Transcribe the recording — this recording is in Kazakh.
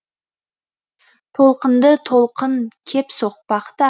толқынды толқын кеп соқпақ та